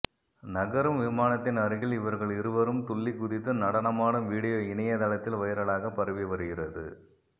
நகரும் விமானத்தின் அருகில் இவர்கள் இருவரும் துள்ளி குதித்து நடனமாடும் வீடியோ இணைய தளத்தில் வைரலாக பரவி வருகிறது